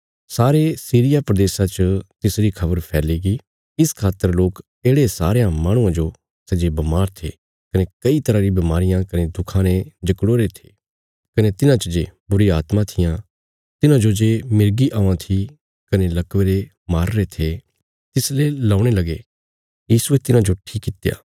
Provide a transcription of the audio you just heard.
सारे सीरिया प्रदेशा च तिसरी खबर फैलीगी इस खातर लोक येढ़े सारयां माहणुआं जो सै जे बमार थे कने कई तरह री बमारियां कने दुखां ने जकड़ोईरे थे कने तिन्हां च जे बुरी आत्मां थिआं तिन्हांजो जे मिर्गी औआं थी कने लकवे रे मारीरे थे तिसले लौणे लगे यीशुये तिन्हांजो ठीक कित्या